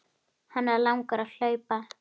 Hana langar að hlaupa.